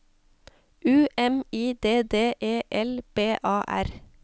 U M I D D E L B A R